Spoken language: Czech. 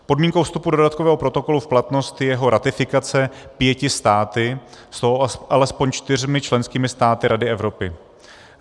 Podmínkou vstupu dodatkového protokolu v platnost je jeho ratifikace pěti státy, z toho alespoň čtyřmi členskými státy Rady Evropy.